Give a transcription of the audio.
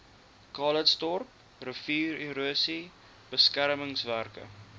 calitzdorp riviererosie beskermingswerke